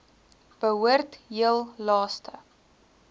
behoort heel laaste